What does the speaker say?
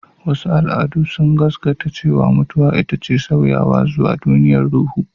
Wasu al'adu sun gaskata cewa mutuwa ita ce sauyawa zuwa duniyar ruhu.